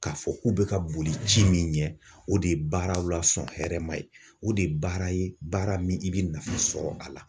K'a fɔ k'u bɛ ka boli ci min ɲɛ , o de ye baaraw la sɔn hɛrɛma ye, o de ye baara ye baara min i bɛ nafa sɔrɔ a la.